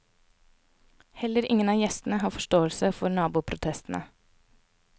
Heller ingen av gjestene har forståelse for naboprotestene.